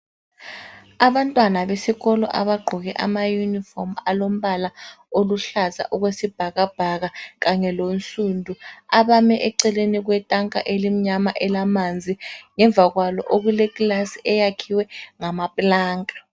Abantwana besikolo abaqgoke ama yunifomu alombala oluhlaza okwesibhakabhaka kanye lonsundu abame eceleni kwetanka elimnyama elamanzi ngemva kwalo okuleclasi eyakhiwe ngamaplanka